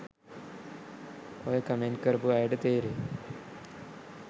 ඔය කමෙන්ට් කරපු අයට තේරෙයි